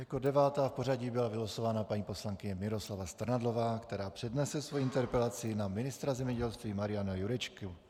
Jako devátá v pořadí byla vylosována paní poslankyně Miroslava Strnadlová, která přednese svoji interpelaci na ministra zemědělství Mariana Jurečku.